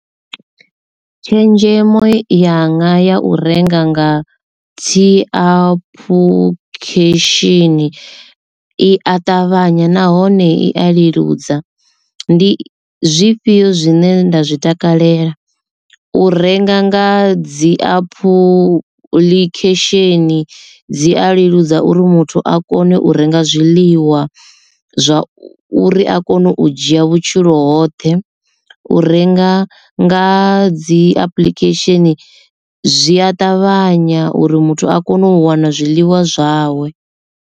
Tshenzhemo ya nga ya u renga nga dzi apuḽikhesheni i a ṱavhanya nahone i a leludza. Ndi zwifhio zwine nda zwi takalela u renga nga dzi apuḽikhesheni dzi a leludza uri muthu a kone u renga zwiḽiwa zwa uri a kone u dzhia vhutshilo hoṱhe, u renga nga dzi apuḽikhesheni zwi a ṱavhanya uri muthu a kone u wana zwiḽiwa zwawe.